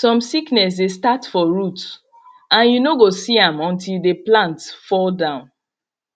some sickness dey start for root and you no go see am until the plant fall down